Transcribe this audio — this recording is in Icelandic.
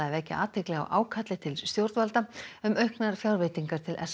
vekja athygli á ákalli til stjórnvalda um auknar fjárveitingar til s